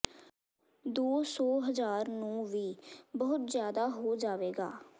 ਦੋ ਸੌ ਹਜ਼ਾਰ ਨੂੰ ਵੀ ਬਹੁਤ ਜ਼ਿਆਦਾ ਹੋ ਜਾਵੇਗਾ